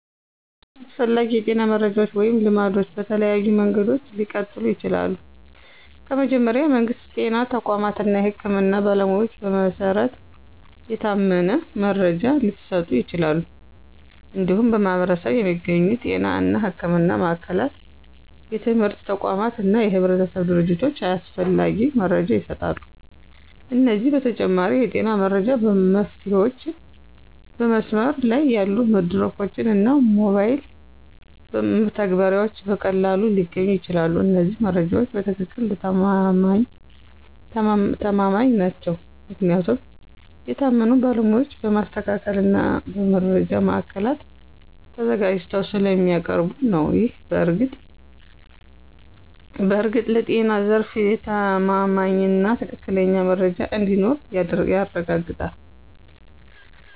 አስፈላጊ የጤና መረጃዎች ወይም ልማዶች በተለያዩ መንገዶች ሊቀጥሉ ይችላሉ። ከመጀመሪያ፣ የመንግስት ጤና ተቋማት እና የህክምና ባለሞያዎች በመሰረት የታመነ መረጃ ሊሰጡ ይችላሉ። እንዲሁም በማኅበረሰብ የሚገኙ ጤና እና ሕክምና ማዕከላት፣ የትምህርት ተቋማት እና የህብረተሰብ ድርጅቶች ያስፈላጊ መረጃ ይሰጣሉ። ከዚህ በተጨማሪ፣ የጤና መረጃ መፍትሄዎችን በመስመር ላይ ያሉ መድረኮች እና ሞባይል መተግበሪያዎች በቀላሉ ሊገኙ ይችላሉ። እነዚህ መረጃዎች በትክክል ተማማኝ ናቸው ምክንያቱም የታመኑ ባለሞያዎች በማስተካከል እና በመረጃ ማዕከላት ተዘጋጅተው ስለሚያቀርቡ ነው። ይህ በእርግጥ ለጤና ዘርፍ የተማማኝና ትክክለኛ መረጃ እንዲኖር ያረጋግጣል።